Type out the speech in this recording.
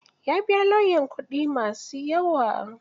Ya biya lauyan kuɗi ma su yawa.